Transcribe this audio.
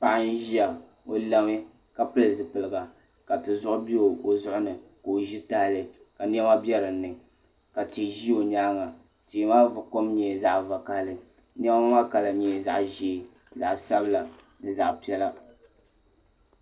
Paɣa n ʒiya o lami ka pili zipiligu ka tizuɣu bɛ o zuɣuni ka o ʒi tahali ka niɛma bɛ dinni ka tia ʒi o nyaanga tia maa kom nyɛla zaɣ vakaɣali niɛma maa kala nyɛla zaɣ ʒiɛ zaɣ sabila ni zaɣ piɛla